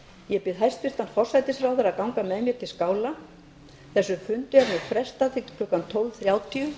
ég bið hæstvirtan forsætisráðherra að ganga með mér til skála þessum fundi er nú frestað til klukkan tólf þrjátíu